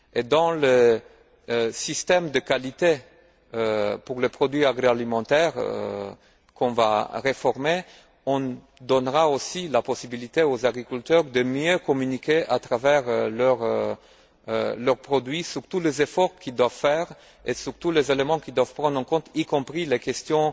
Dans le système de qualité applicable aux produits agroalimentaires qu'on va réformer, on donnera aussi la possibilité aux agriculteurs de mieux communiquer, à travers leurs produits, sur tous les efforts qu'ils doivent faire et sur tous les éléments qu'ils doivent prendre en compte, y compris les questions